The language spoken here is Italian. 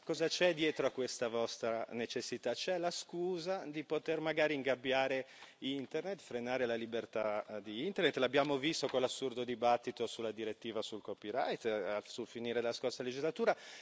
Ma cosa c'è dietro a questa vostra necessità? C'è la scusa per poter magari ingabbiare Internet, frenare la libertà di Internet l'abbiamo visto con l'assurdo dibattito sulla direttiva sul copyright sul finire della scorsa legislatura.